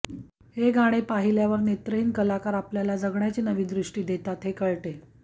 हे गाणे पाहिल्यावर नेत्रहिन कलाकार आपल्याला जगण्याची नवी दृष्टी देतात हे कळते